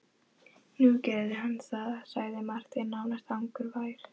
Nú gerði hann það, sagði Marteinn nánast angurvær.